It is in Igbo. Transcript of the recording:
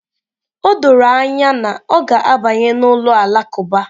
O doro anya na ọ ga-abanye n'ụlọ alakụba